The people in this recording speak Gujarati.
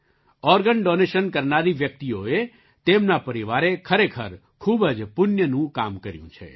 ઑર્ગન ડૉનેશન કરનારી વ્યક્તિઓએ તેમના પરિવારે ખરેખર ખૂબ જ પુણ્યનું કામ કર્યું છે